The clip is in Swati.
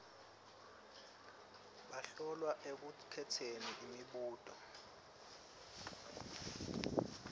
bahlolwa ekukhetseni imibuto